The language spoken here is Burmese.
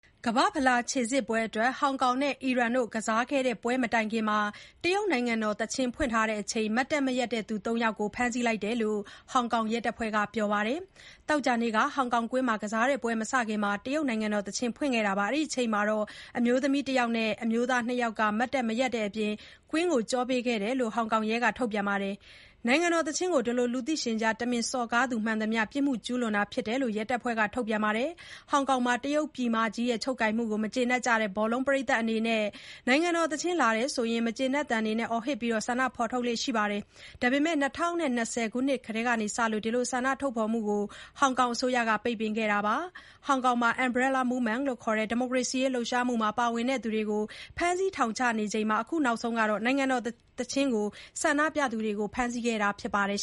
ကမ္ဘာ့ဖလားခြေစစ်ပွဲအတွက် ဟောင်ကောင်နဲ့ အီရန်ကစားခဲ့တဲ့ပွဲမတိုင်ခင် တရုတ်နိုင်ငံတော်သီချင်းဖွင့်ချိန် မတ်တပ်မရပ်သူ ၃ ယောက်ကို ဖမ်းဆီးလိုက်တယ်လို့ ဟောင်ကောင်ရဲတပ်ဖွဲ့က ပြောပါတယ်။ သောကြာနေ့က ဟောင်ကောင်ကွင်းမှာကစားတဲ့ပွဲမစခင် တရုတ်နိုင်ငံတော်သီချင်းဖွင့်ချိန်မှာ အမျိုးသမီး ၁ ယောက်နဲ့ အမျိုးသား ၂ ယောက်က မတ်တပ်မရပ်တဲ့အပြင် ကွင်းကို ကျောပေးခဲ့ကြတယ်လို့ ရဲထုတ်ပြန်ချက်မှာ ဖော်ပြပါတယ်။ နိုင်ငံတော်သီချင်းကို လူသိရှင်ကြား တမင်စော်ကားသူ မှန်သမျှ ပြစ်မှုကျူးလွန်တာဖြစ်တယ်လို့ ရဲတပ်ဖွဲ့ထုတ်ပြန်ချက်မှာ အလေးထားပြောထားပါတယ်။ ဟောင်ကောင်မှာ တရုတ်ပြည်မကြီးရဲ့ ချုပ်ကိုင်မှုကို မကျေနပ်ကြတဲ့ ဘောလုံးပရိတ်သတ်တွေအနေနဲ့ နိုင်ငံတော်သီချင်းလာရင် မကျေနပ်သံတွေ အော်ဟစ်ပြီး ဆန္ဒဖော်ထုတ်ကြလေ့ရှိပါတယ်။ ဒါပေမဲ့ ၂၀၂၀ ခုနှစ်ထဲက စလို့ ဒီလိုဆန္ဒဖော်ထုတ်မှုတွေကို ဟောင်ကောင်အစိုးရက ပိတ်ပင်ခဲ့ပါတယ်။ ဟောင်ကောင်မှာ Umbrella Movement လို့သိကြတဲ့ ဒီမိုကရေစီရေးလှုပ်ရှားမှုမှာပါဝင်သူတွေကို ဖမ်းဆီး ထောင်ချနေချိန်မှာ အခုနောက်ဆုံး နိုင်ငံတော်သီချင်းကို ဆန္ဒပြသူတွေကို ဖမ်းဆီးခဲ့တာဖြစ်ပါတယ်